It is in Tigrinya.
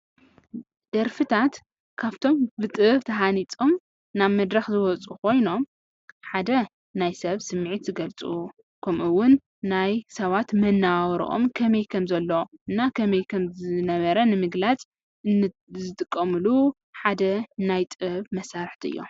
ደርፍታታት ካፍቶም ብጥበብ ተሃኒፆም ናብ መድረኽ ዝወፅኡ ኮይኖም ሓደ ናይ ሰብ ስምዒት ዝገልፁ ከምኡ እዉን ናይ ሰባት መነባብርኦም ከመይ ከም ዘሎን ከመይ ከ ዝነበረን ንምግላፅ ዝጥቀምሉ ሓደ ናይ ጥበብ መሳርሕታት እዮም።